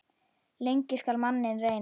Lengi skal manninn reyna.